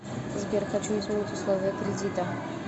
сбер хочу изменить условия кредита